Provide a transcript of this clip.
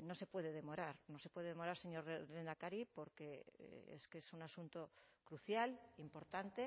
no se puede demorar no se puede demorar señor lehendakari porque es que es un asunto crucial importante